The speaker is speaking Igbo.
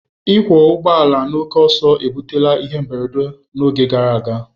Ịkwọ ụgbọ ala na oke ọsọ ebutere ihe mberede n'oge gara aga.